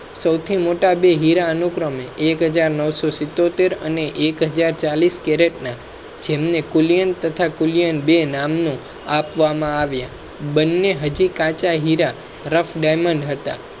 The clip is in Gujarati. સૌથી મોટા બે હીરા અનુક્રમે એક હજાર નૌશો સીતોતેર અને એક હાજર ચાલીસ કેરેટ ના જેમ ને કુલિયન તથા કુલિયન બે નામ આપવામાં આવ્યા. હીરા રફ diamond હતા.